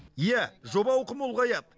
иә жоба ауқымы ұлғаяды